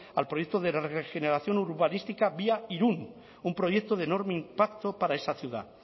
al proyecto de regeneración urbanística vía irún un proyecto de enorme impacto para esa ciudad